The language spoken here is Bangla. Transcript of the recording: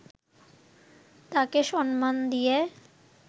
তাকে সম্মান দিয়ে